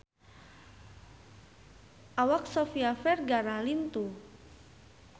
Awak Sofia Vergara lintuh